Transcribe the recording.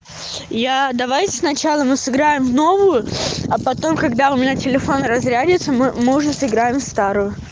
я давайте сначала мы сыграем в новую а потом когда у меня телефон разрядится мы мы уже сыграем в старую